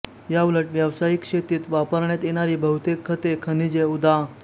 याउलट व्यावसायिक शेतीत वापरण्यात येणारी बहुतेक खते खनिजे उदा